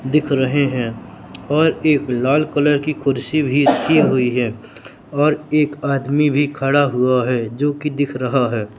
दिख रहे हैं और एक लाल कलर की कुर्सी भी रखी हुई है और एक आदमी भी खड़ा हुआ है जो की दिख रहा है।